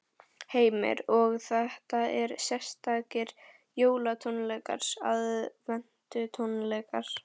Heimir: Og þetta eru sérstakir jólatónleikar, aðventutónleikar?